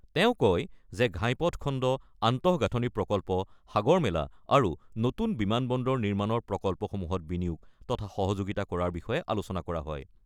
তেওঁ কয় যে ঘাইপথ খণ্ড, আন্তঃগাঁথনি প্ৰকল্প, সাগৰ মেলা আৰু নতুন বিমান বন্দৰ নিৰ্মাণৰ প্ৰকল্পসমূহত বিনিয়োগ তথা সহযোগিতা কৰাৰ বিষয়ে আলোচনা কৰা হয়।